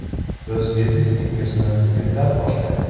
O‘z biznesingizni bugundan boshlang!